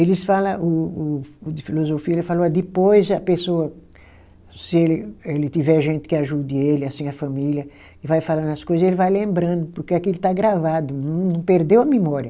Eles fala o o, o de filosofia, ele falou, depois a pessoa, se ele ele tiver gente que ajude ele, assim a família, e vai falando as coisa, ele vai lembrando, porque aquilo ele está gravado, não perdeu a memória.